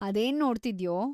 ಅದೇನ್‌ ನೋಡ್ತಿದ್ಯೋ?